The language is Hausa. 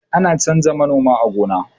ana canja noma a gona